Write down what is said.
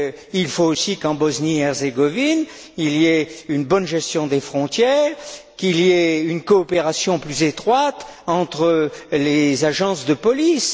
Il faut aussi qu'en Bosnie et Herzégovine, il y ait une bonne gestion des frontières et une coopération plus étroite entre les agences de police.